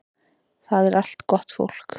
Það er allt gott fólk